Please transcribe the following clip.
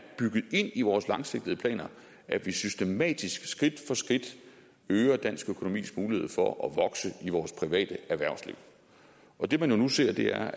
bygget ind i vores langsigtede planer at vi systematisk skridt for skridt øger dansk økonomis mulighed for at vokse i vores private erhvervsliv og det man nu ser er